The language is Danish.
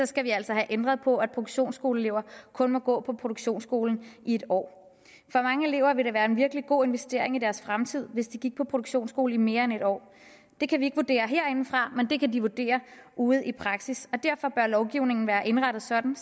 skal vi altså have ændret på at produktionsskoleelever kun må gå på produktionsskolen i en år for mange elever vil det være en virkelig god investering i deres fremtid hvis de gik på produktionsskolen i mere end en år det kan vi ikke vurdere herindefra men det kan de vurdere ude i praksis og derfor lovgivningen være indrettet sådan